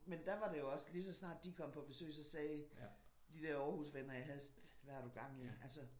Men der var det også lige så snart de kom på besøg så sagde de der Aarhusvenner jeg havde hvad har du gang i? Altså